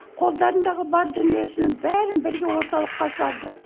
қолдарындағы бар дүниесінің бәрін бірге орталыққа салды